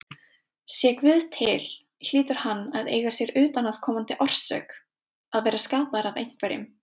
Sé Guð til hlýtur hann að eiga sér utanaðkomandi orsök, að vera skapaður af einhverjum.